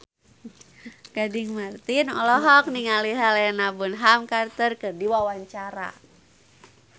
Gading Marten olohok ningali Helena Bonham Carter keur diwawancara